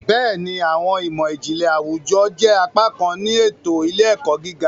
Béèni, awọn imọ-jinlẹ àwùjọ jẹ apá kan ti eto ile-ẹkọ gíga